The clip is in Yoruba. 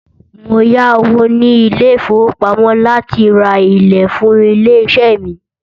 Mó yá owó ní ilé ìfọwọ́pamo láti rá ìlẹ̀ fún ilé iṣé mí.